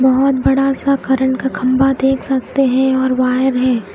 बहोत बड़ा सा करंट का खम्भा देख सकते है और वायर है।